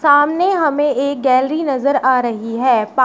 सामने हमें एक गैलरी नजर आ रही है पा --